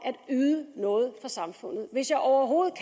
at yde noget samfundet hvis jeg overhovedet